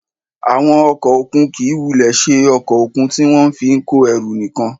Àwọn ọkọ̀ òkun kì í wulẹ̀ ṣe ọkọ̀ òkun tí wọ́n fi ń kó ẹrù nìkan